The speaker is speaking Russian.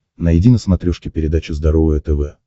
найди на смотрешке передачу здоровое тв